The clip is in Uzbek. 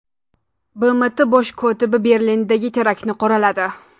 BMT bosh kotibi Berlindagi teraktni qoraladi.